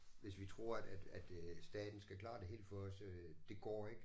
Hvis vi tror at at øh staten skal klare det hele for os øh det går ikke